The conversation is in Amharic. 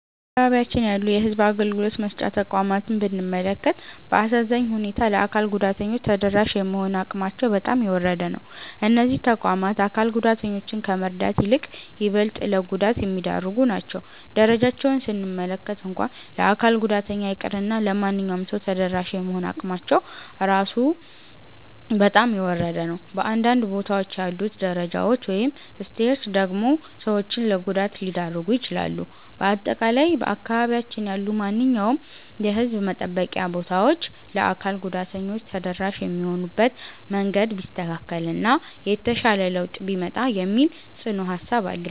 በአካባቢያችን ያሉ የሕዝብ አገልግሎት መስጫ ተቋማትን ብንመለከት፣ በአሳዛኝ ሁኔታ ለአካል ጉዳተኞች ተደራሽ የመሆን አቅማቸው በጣም የወረደ ነው። እነዚህ ተቋማት አካል ጉዳተኞችን ከመርዳት ይልቅ ይበልጥ ለጉዳት የሚዳርጉ ናቸው። ደረጃቸውን ስንመለከት እንኳን ለአካል ጉዳተኛ ይቅርና ለማንኛውም ሰው ተደራሽ የመሆን አቅማቸው ራሱ በጣም የወረደ ነው። በአንዳንድ ቦታዎች ያሉት ደረጃዎች (Stairs) ደግሞ ሰዎችን ለጉዳት ሊዳርጉ ይችላሉ። በአጠቃላይ በአካባቢያችን ያሉ ማንኛውም የሕዝብ መጠበቂያ ቦታዎች ለአካል ጉዳተኞች ተደራሽ የሚሆኑበት መንገድ ቢስተካከል እና የተሻለ ለውጥ ቢመጣ የሚል ጽኑ ሃሳብ አለኝ።